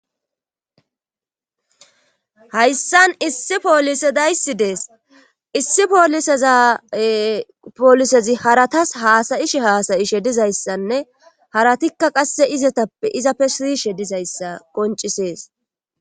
Hayssan issi poolise dayssi dees issi poliseza poolisezi haratas haasayishi haasayishe dizayssanne haratikka qasse izetappe iza pe siishe dizayssa qoncisees